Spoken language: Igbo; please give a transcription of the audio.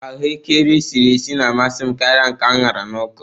Ahuekere esiri esi na-amasị m karịa nke a ṅara n'ọkụ.